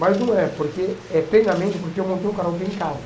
Mas não é, porque é treinamento, porque eu montei um karaoke em casa.